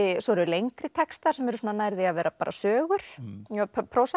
svo eru lengri textar sem eru nær því að vera bara sögur